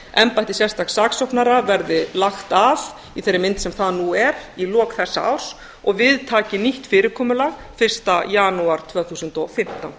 embætti sérstaks saksóknara verði lagt af í þeirri mynd sem það nú er í lok þessa árs og við taki nýtt fyrirkomulag fyrsta janúar tvö þúsund og fimmtán